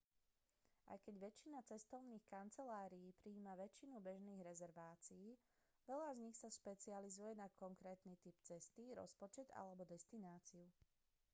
aj keď väčšina cestovných kancelárií prijíma väčšinu bežných rezervácií veľa z nich sa špecializuje na konkrétny typ cesty rozpočet alebo destináciu